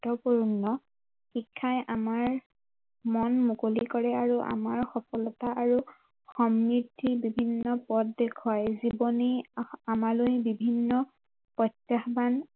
গুৰুত্ৱপূৰ্ণ শিক্ষাই আমাৰ মন মুকলি কৰে আৰু আমাৰ সফলতা আৰু সমৃদ্ধি বিভিন্ন পথ দেখুৱাই জীৱনে আমালৈ বিভিন্ন প্ৰত্য়াহ্বান